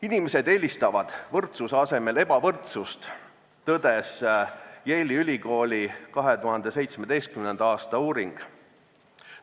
Inimesed eelistavad võrdsuse asemel ebavõrdsust, tõdes Yale'i ülikooli 2017. aasta uuring.